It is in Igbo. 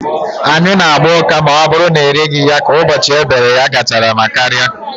Anyụ na agba ụka ma ọ bụrụ na ereghị ya ka ụbọchị e bere ya gachara ma karịa